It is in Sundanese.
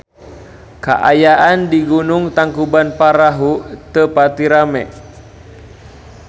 Kaayaan di Gunung Tangkuban Perahu teu pati rame